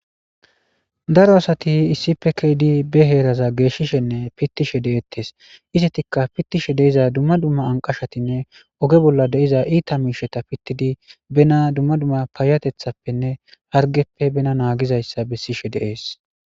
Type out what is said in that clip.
Daro asati issife keedi be heeraza geeshishenne pittishe de7ettes istetikka pittishe deiza dumma dumma anqashatinne oge bolla deiza iita miisheta pittidi bena dumma dumma paayatethappenne hargeppe bena naagizayssa bessishe deees